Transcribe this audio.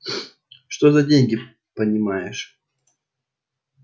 что за деньги понимаешь